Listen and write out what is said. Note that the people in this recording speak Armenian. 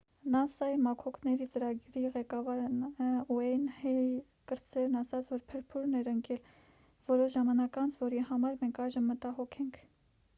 նասա-ի մաքոքների ծրագրի ղեկավար ն ուեյն հեյլ կրտսերն ասաց որ փրփուրն էր ընկել որոշ ժամանակ անց որի համար մենք այժմ մտագոհ ենք